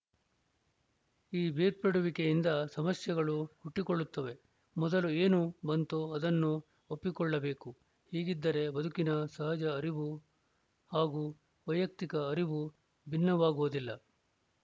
ಈ ಬೇರ್ಪಡುವಿಕೆಯಿಂದ ಸಮಸ್ಯೆಗಳು ಹುಟ್ಟಿಕೊಳ್ಳುತ್ತವೆ ಮೊದಲು ಏನು ಬಂತೋ ಅದನ್ನು ಒಪ್ಪಿಕೊಳ್ಳಬೇಕು ಹೀಗಿದ್ದರೆ ಬದುಕಿನ ಸಹಜ ಹರಿವು ಹಾಗೂ ವೈಯುಕ್ತಿಕ ಹರಿವು ಭಿನ್ನವಾಗುವುದಿಲ್ಲ